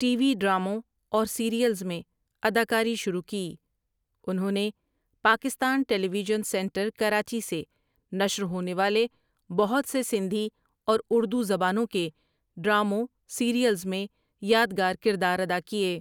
T V ڈراموں اور serials میں اداکاری شروع کی انہوں نے Pakistan television centre Karachi سے نشر ہونے والے بہت سے سندھی اور اردو زبانوں کے ڈراموں سیریلز میں یادگار کردار ادا کیے ۔